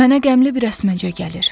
Mənə qəmli bir əsməcə gəlir.